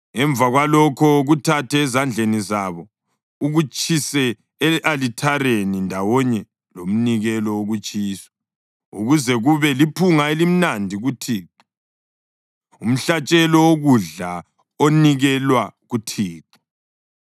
Emva kwalokho kuthathe ezandleni zabo ukutshise e-alithareni ndawonye lomnikelo wokutshiswa ukuze kube liphunga elimnandi kuThixo, umhlatshelo wokudla onikelwa kuThixo.